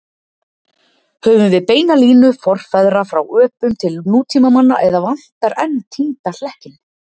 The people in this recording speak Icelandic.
Höfum við beina línu forfeðra frá öpum til nútímamanns eða vantar enn týnda hlekkinn?